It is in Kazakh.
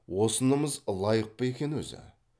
осынымыз лайық па екен өзі